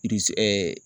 ɛɛ